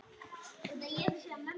Hann hlær eins og barn.